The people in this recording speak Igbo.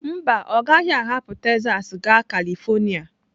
Mba, ọ gaghị ahapụ Texas gaa Kalịfornia